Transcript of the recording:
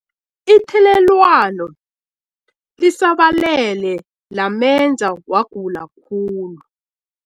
Ithelelwano lisabalele lamenza wagula khulu.